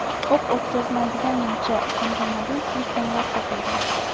o‘q o‘tkazmaydigan nimcha hamda mobil telefonlar topilgan.